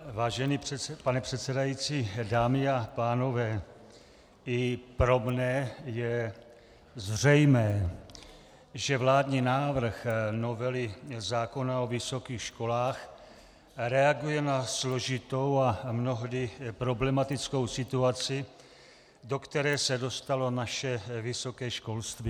Vážený pane předsedající, dámy a pánové, i pro mne je zřejmé, že vládní návrh novely zákona o vysokých školách reaguje na složitou a mnohdy problematickou situaci, do které se dostalo naše vysoké školství.